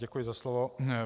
Děkuji za slovo.